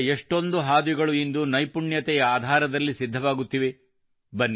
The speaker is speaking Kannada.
ಪ್ರಗತಿಯ ಎಷ್ಟೊಂದು ಹಾದಿಗಳು ಇಂದು ನೈಪುಣ್ಯದಿಂದಸಿದ್ಧವಾಗುತ್ತಿವೆ